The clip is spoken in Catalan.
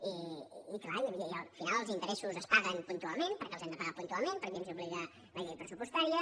i clar al final els interessos es paguen puntualment perquè els hem de pagar puntualment perquè ens hi obliga la llei pressupostària